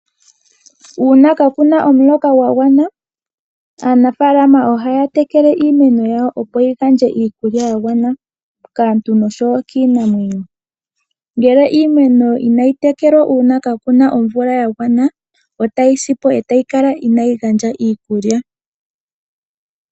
Uuna kaakuna omuloka gwa gwana, aanafaalama ohaya tekele iimeno yawo opo yi gandje iikulya ya gwana kaantu noshowo kiinamwenyo. Ngele iimeno inayi tekelwa uuna kaakuna omvula ya gwana, otayi sipo, etayi kala inaayi gandja iikulya.